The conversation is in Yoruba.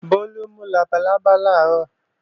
Bólú mú labalábá làárọ̀